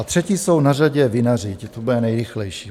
A třetí jsou na řadě vinaři, to bude nejrychlejší.